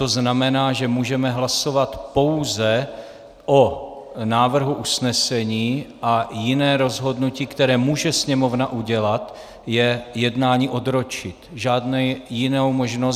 To znamená, že můžeme hlasovat pouze o návrhu usnesení a jiné rozhodnutí, které může Sněmovna udělat, je jednání odročit.